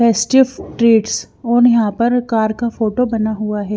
Festive treats और यहां पर कार का फोटो बना हुआ है।